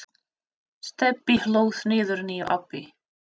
Stebbi hlóð niður nýju appi.